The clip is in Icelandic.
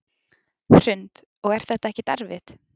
Hrund: Og er þetta ekkert erfitt?